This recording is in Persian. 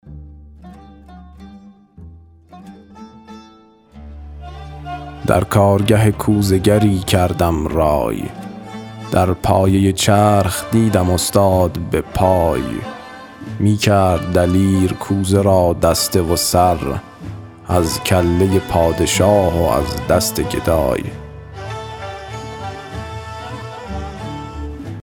در کارگه کوزه گری کردم رای در پایه چرخ دیدم استاد به پای می کرد دلیر کوزه را دسته و سر از کله پادشاه و از دست گدای